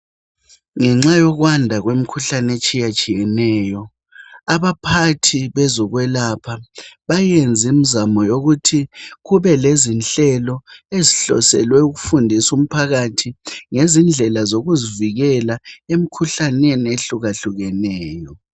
Ngenxa yokwanda kwemkhuhlane etshiye tshiyeneyo abaphathi bezokwelapha bayenza imzamo yokuthi kube lezinhlelo ezihloselwe ukufundisu mphakathi ngezindlela zokuzivikela emkhuhlaneni ehlukehlukeneyo .